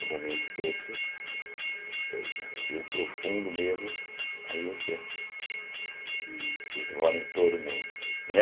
E o momento desse, o profundo mesmo, aí encerra. Esse rola em todo mundo, né?